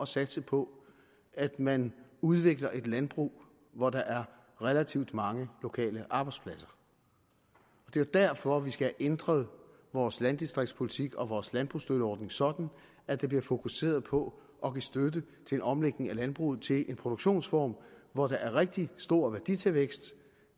satse på at man udvikler et landbrug hvor der er relativt mange lokale arbejdspladser det er derfor vi skal have ændret vores landdistriktspolitik og vores landbrugsstøtteordning sådan at der bliver fokuseret på at give støtte til en omlægning af landbruget til en produktionsform hvor der er rigtig stor værditilvækst